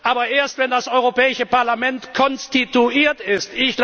Aber erst, wenn das Europäische Parlament konstituiert